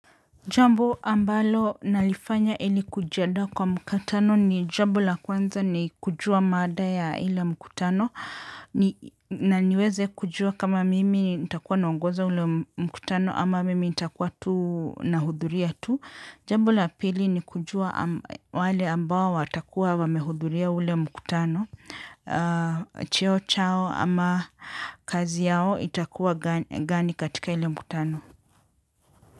Jambo ambalo nalifanya ili kujiandaa kwa mkutano ni jambo la kwanza ni kujua mada ya ile mkutano. Na niweze kujua kama mimi nitakuwa naongoza ule mkutano ama mimi nitakuwa tu nahudhuria tu. Jambo la pili ni kujua wale ambao watakuwa wamehudhuria ule mkutano. Cheo chao ama kazi yao itakuwa gani katika ile mkutano.